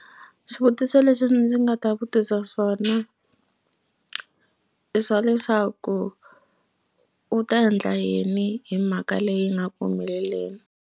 Swivutiso leswi ndzi nga ta vutisa swona i swa leswaku u ta endla yini hi mhaka leyi nga ku humeleleni.